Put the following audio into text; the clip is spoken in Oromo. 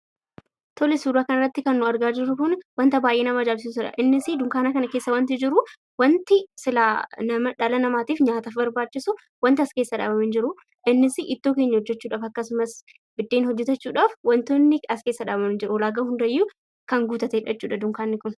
Tole, suuraa kana irratti kan nuti argaa jirru kun wanta baay'ee nama ajaa'ibsiisuudha. Innis dunkaana kana keessa wanti jiru, wanti silaa dhala namaatiif nyaataaf barbaachisu wanti as keessaa dhabame hin jiru. Innis ittoo keenya hojjechuudhaaf, akkasumas biddeen hojjetachuudhaaf wantootni as keessaa dhabame hin jiru. Ulaagaa hundayyuu kan guuttateedha jechuudha dunkaanni kun.